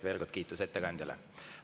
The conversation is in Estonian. Veel kord kiitus ettekandjale.